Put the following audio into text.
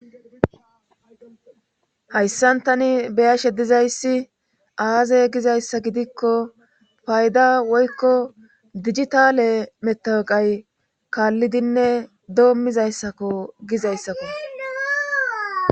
Hayssantani beyashe dizayssi aazey gizayssa gidikko fayda woykko digitale metaqay kaallidinne doommizayssakko gizayssafe